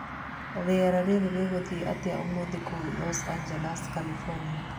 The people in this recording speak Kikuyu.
Rĩera rĩrĩ rĩgũthiĩ atĩa ũmũthĩ kũu Los Angeles California